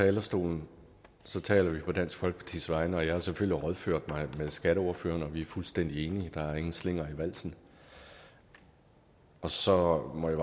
talerstolen taler vi på dansk folkepartis vegne og jeg har selvfølgelig rådført mig med skatteordføreren og vi er fuldstændig enige der er ingen slinger i valsen og så må jeg